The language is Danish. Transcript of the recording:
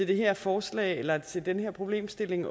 det her forslag eller den her problemstilling